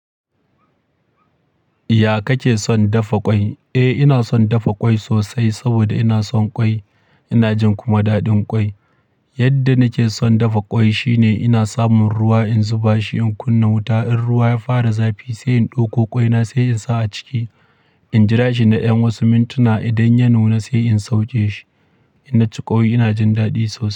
Ya kake son dafa kwai? Eh ina son dafa kwai sosai saboda ina son kwai. Ina jin kuma daɗin kwai. Yadda nake son dafa kwai shine ina samun ruwa in zuba shi in kunna wuta. In ruwa ya fara zafi sai in ɗauko ƙwaina sai in sa a ciki. In jira shi na yan wasu mintuna idan ya nuna sai in sauke shi. Ina ci ƙwai ina jin daɗi sosai.